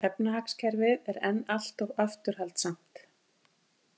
Efnahagskerfið er enn allt of afturhaldssamt